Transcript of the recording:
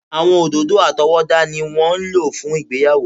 Àwọn òdòdó àtọwọ́dá ni wọ́n ń lò fún ìgbéyàwó.